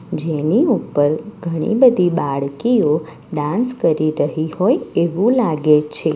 જેની ઉપર ઘણી બધી બાળકીઓ ડાન્સ કરી રહી હોય એવું લાગે છે.